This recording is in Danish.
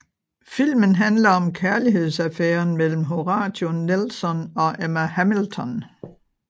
Filmen handler om kærlighedsaffæren mellem Horatio Nelson og Emma Hamilton